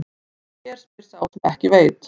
En hér spyr sá sem ekki veit.